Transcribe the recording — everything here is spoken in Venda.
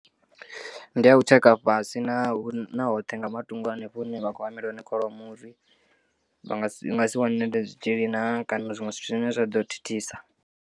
Ndiya u tsheka fhasi na hoṱhe nga matungo hanefho hune vha khou hamela hone kholomo uri vha nga si nga si wanele zwitzhili naa kana zwiṅwe zwithu zwine zwa ḓo thithisa.